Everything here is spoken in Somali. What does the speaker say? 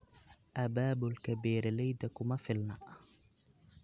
Abaabulka beeralayda kuma filna.